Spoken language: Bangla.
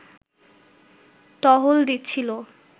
টহল দিচ্ছিলো